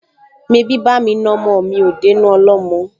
Mebí bá'mi na ọmọ mi ò dénú ọlọ́mọ?